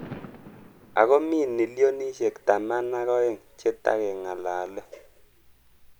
Ako mi nillionishek taman ak aeng che takengalalee.